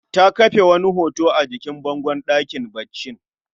Ta kafe wani hoto a jikin bangon ɗakin baccin